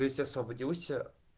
то есть освободился